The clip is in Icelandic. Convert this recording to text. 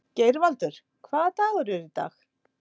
Geirvaldur, hvaða dagur er í dag?